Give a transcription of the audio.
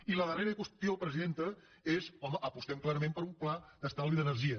i la darrera qüestió presidenta és home apostem clarament per un pla d’estalvi d’energia